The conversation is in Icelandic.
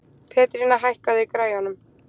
Pétrína, hækkaðu í græjunum.